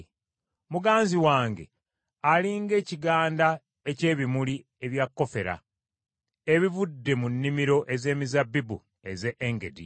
Muganzi wange ali ng’ekiganda eky’ebimuli ebya kofera ebivudde mu nnimiro ez’emizabbibu ez’e Engedi.